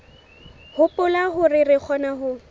hopola hore re kgona ho